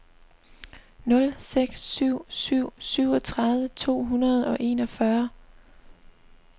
nul seks syv syv syvogtredive to hundrede og enogfyrre